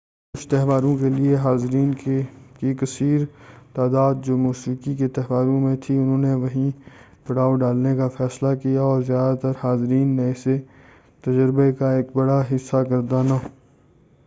کُچھ تہواروں کے لیے حاضرین کی کثیر تعداد جو موسیقی کے تہواروں میں تھی اُنہوں نے وہیں پڑاؤ ڈالنے کا فیصلہ کیا اور زیادہ تر حاضرین نے اسے تجربے کا ایک بڑا حِصّہ گردانا